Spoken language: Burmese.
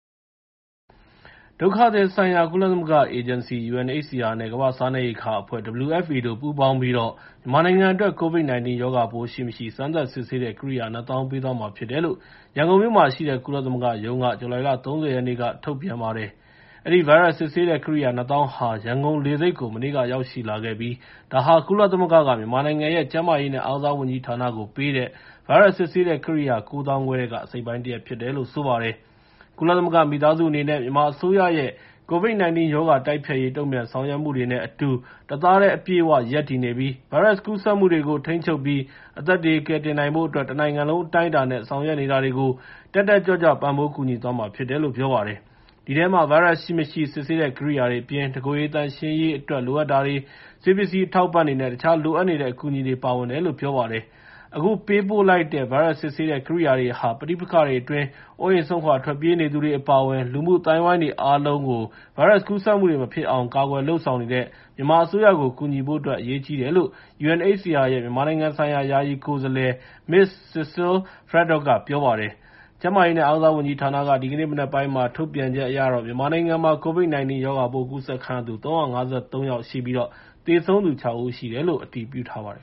ဒုက္ခသည်ဆိုင်ရာ ကုလသမဂ္ဂ အေဂျင်စီ (UNHCR) နဲ့ ကမ္ဘာ့စားနှပ်ရိက္ခာအဖွဲ့ (WFP) တို့ပူးပေါင်းပြီးတော့ မြန်မာနိုင်ငံအတွက် COVID-19 ရောဂါပိုးရှိ၊ မရှိ စမ်းသပ်စစ်ဆေးတဲ့ ကိရိယာ ၂၀,၀၀၀ ပေးသွားမှာဖြစ်တယ်လို့ ရန်ကုန်မြို့မှာရှိတဲ့ ကုလသမဂ္ဂရုံးက ဇူလိုင်လ ၃၀ ရက်နေ့က ထုတ်ပြန်ပါတယ်။ အဲဒီ ဗိုင်းရပ်စ် စစ်ဆေးတဲ့ကိရိယာ ၂၀,၀၀၀ ဟာ ရန်ကုန်လေဆိပ်ကို မနေ့ကရောက်ရှိလာခဲ့ပြီး ဒါဟာ ကုလသမဂ္ဂက မြန်မာနိုင်ငံရဲ့ ကျန်းမာရေးနဲ့ အားကစားဝန်ကြီးဌာနကို ပေးတဲ့ ဗိုင်းရပ်စ်စစ်ဆေးတဲ့ ကိရိယာ ၉၅,၀၀၀ ထဲက အစိတ်အပိုင်းတရပ် ဖြစ်တယ်လို့ ဆိုပါတယ်။ ကုလသမဂ္ဂမိသားစုအနေနဲ့ မြန်မာအစိုးရရဲ့ COVID-19 ရောဂါတိုက်ဖျက်ရေး တုံ့ပြန်ဆောင်ရွက်မှုတွေ နဲ့ အတူ တသားတည်းအပြည့်အ၀ ရပ်တည်နေပြီး ဗိုင်းရပ်စ်ကူးစက်မှုတွေကို ထိန်းချုပ်ပြီး အသက်တွေကယ်တင်နိုင်ဖို့အတွက် တနိုင်ငံလုံးအတိုင်းအတာနဲ့ ဆောင်ရွက်နေတာတွေကို တက်တက်ကြွကြွ ပံ့ပိုးကူညီသွားမှာဖြစ်တယ်လို့ ပြောပါတယ်။ အဲဒီထဲမှာ ဗိုင်းရပ်စ်ရှိ၊ မရှိ စစ်ဆေးတဲ့ကိရိယာတွေအပြင် တကိုယ်ရေသန့်ရှင်းရေးအတွက်လိုအပ်တာတွေ၊ ဆေးပစ္စည်းအထောက်အပံ့တွေနဲ့ တခြားလိုအပ်နေတဲ့အကူအညီတွေ ပါဝင်တယ်လို့ပြောပါတယ်။ အခုပေးပို့လိုက်တဲ့ ဗိုင်းရပ်စ်စစ်ဆေးတဲ့ ကိရိယာတွေဟာ ပဋိပက္ခတွေအတွင်း အိုးအိမ်စွန့်ခွာထွက်ပြေးနေသူတွေအပါအဝင် လူမှုအသိုင်းအဝိုင်းတွေအားလုံးကို ဗိုင်းရပ်စ်ကူးစက်မှုတွေ မဖြစ်အောင် ကာကွယ်လုပ်ဆောင်နေတဲ့ မြန်မာအစိုးရကို ကူညီဖို့အတွက် အရေးကြီးတယ်လို့ UNHCR ရဲ့ မြန်မာနိုင်ငံဆိုင်ရာ ယာယီကိုယ်စားလှယ် Ms Cecile Fradot က ပြောပါတယ်။ ကျန်းမာရေးနဲ့ အားကစားဝန်ကြီးဌာနက ဒီကနေ့ မနက်ပိုင်း ထုတ်ပြန်ချက်အရတော့ မြန်မာနိုင်ငံမှာ COVID-19 ရောဂါပိုးကူးစက်ခံရသူ ၃၅၃ ယောက်ရှိပြီး၊ သေဆုံးသူ ခြောက် ဦး ရှိတယ်လို့ အတည်ပြုထားပါတယ်